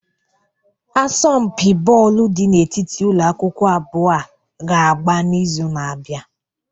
Asọmpi bọọlụ dị n'etiti ụlọ akwụkwọ abụọ a ga-agba n'izu na-abịa.